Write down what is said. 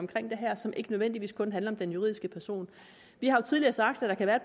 det her som ikke nødvendigvis kun handler om den juridiske person vi har jo tidligere sagt at